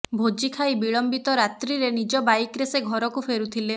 ଭୋଜି ଖାଇ ବିଳମ୍ବିତ ରାତ୍ରିରେ ନିଜ ବାଇକରେ ସେ ଘରକୁ ଫେରୁଥିଲେ